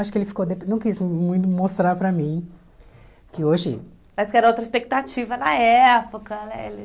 Acho que ele ficou de... Não quis muito mostrar para mim que hoje... Mas que era outra expectativa na época, né? Ele